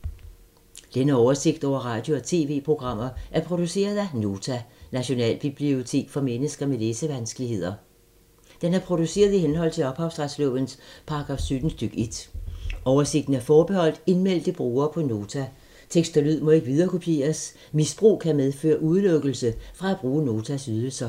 Denne oversigt over radio og TV-programmer er produceret af Nota, Nationalbibliotek for mennesker med læsevanskeligheder. Den er produceret i henhold til ophavsretslovens paragraf 17 stk. 1. Oversigten er forbeholdt indmeldte brugere på Nota. Tekst og lyd må ikke viderekopieres. Misbrug kan medføre udelukkelse fra at bruge Notas ydelser.